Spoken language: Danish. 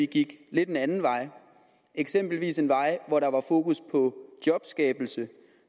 gik en lidt anden vej eksempelvis en vej hvor der var fokus på jobskabelse